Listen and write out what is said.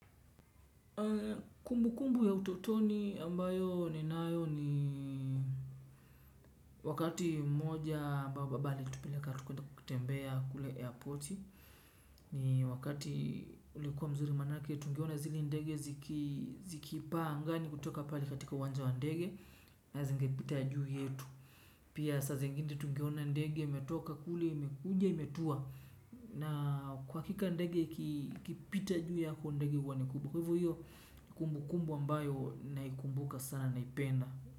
Kumbu kumbu ya utotoni ambayo ni nayo ni wakati mmoja babali tupeleka kutembea kule airporti ni wakati ulikuwa mzuri manake tungeona zile ndege zikipaa angani kutoka pali katika wanza wa ndege na zingipitaya juu yetu pia sase ngine tungeona ndege imetoka kule imekuja imetua na kwa kika ndege ikipita juu yako ndege uwanekubua. Kwahivu hiyo kumbu kumbu ambayo naikumbuka sana naipenda.